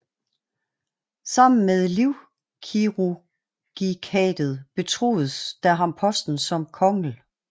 Sammen med Livkirurgikatet betroedes der ham Posten som kongl